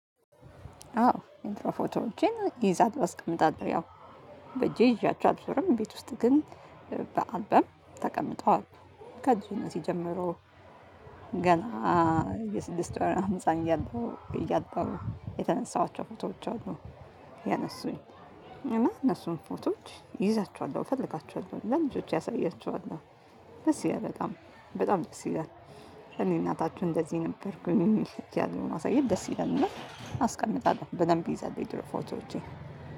አዎ የድሮ ፎቶዎቼን እይዛለሁ አስቀምጣለሁ ያው በእጄ ይዣቸው አልዞርም ቤት ውስጥ ግን በአልበም ተቀምጠዋል። ከልጅነቴ ጀምሮ ገና የስድስት ወር በጣም ህፃን እያለሁ እያጠቡ የተነሳኋቸው ፎቶዎች አሉ። ያነሱኝ እና እነሱን ፎቶዎች ይዛቸዋለሁ እፈልጋቸዋለሁ ለልጆቼ አሳያቸዋለሁ ደስ ይላል በጣም በጣም ደስ ይላል። እኔ እናታችሁ እንደዚህ ነበርኩኝ እያሉ ማሳየት ደስ ይላል። እና አስቀምጣለሁ በደንብ ይዛልሁ የድሮ ፎቶዎቼን